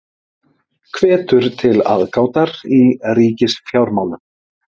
Hvetur til aðgátar í ríkisfjármálum